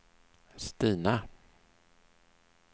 Stina